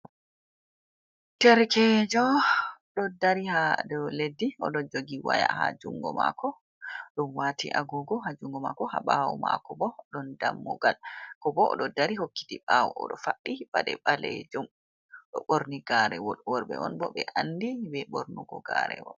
Derkejo do dari ha do leddi odo jogi waya ha jungo mako dumwati agogo ha jungo mako, ha bawo mako bo odon dammugal ko bo odo dari hokkiti bawo odo fabbi bade balejum do borni garewol worbe on bo be andi be bornugo garewol.